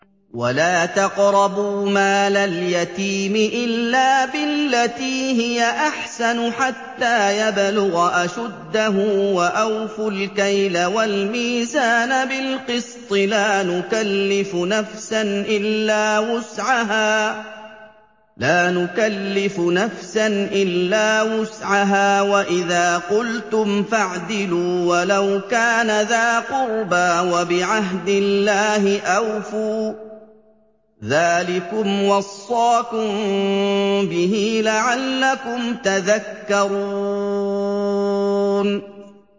وَلَا تَقْرَبُوا مَالَ الْيَتِيمِ إِلَّا بِالَّتِي هِيَ أَحْسَنُ حَتَّىٰ يَبْلُغَ أَشُدَّهُ ۖ وَأَوْفُوا الْكَيْلَ وَالْمِيزَانَ بِالْقِسْطِ ۖ لَا نُكَلِّفُ نَفْسًا إِلَّا وُسْعَهَا ۖ وَإِذَا قُلْتُمْ فَاعْدِلُوا وَلَوْ كَانَ ذَا قُرْبَىٰ ۖ وَبِعَهْدِ اللَّهِ أَوْفُوا ۚ ذَٰلِكُمْ وَصَّاكُم بِهِ لَعَلَّكُمْ تَذَكَّرُونَ